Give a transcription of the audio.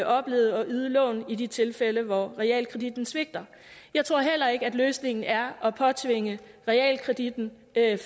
oplevet at yde lån i de tilfælde hvor realkreditten svigter jeg tror heller ikke at løsningen er at påtvinge realkreditten